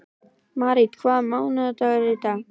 Marít, hvaða mánaðardagur er í dag?